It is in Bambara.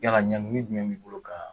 Yala Ɲang min jumɛn b'i' bolo kan.